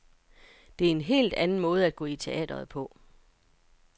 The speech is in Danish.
Det er en helt anden måde at gå i teatret på.